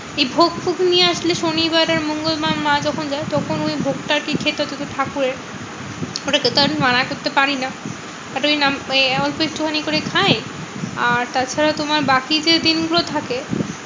এই ভোগ ফোগ নিয়ে আসলে শনিবার আর মঙ্গলবার মা যখন যায় তখন ওই ভোগটা আরকি খেতে হতো যেহেতু ঠাকুরের। ওটা খেতে আমি মানা করতে পারিনা। but ওই নাম এই অল্প একটু খানি করে খাই। আর তাছাড়া তোমার বাকি যে দিনগুলো থাকে